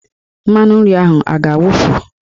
Mmanụ nri ahụ a ga-agwụ?